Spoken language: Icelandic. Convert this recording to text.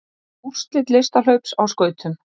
Úrslit listhlaups á skautum